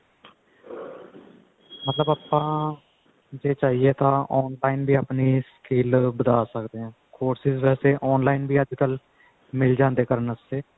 ਮਤਲਬ ਆਪਾਂ ਜੇ ਚਾਹੀਏ ਤਾਂ on time ਵੀ ਆਪਣੀ skill ਵਧਾ ਸਕਦੇ ਹਾਂ courses ਵੈਸੇ ਵੀ online ਅੱਜਕਲ ਮਿਲ ਜਾਂਦੇ ਨੇ ਕਰਨ ਵਾਸਤੇ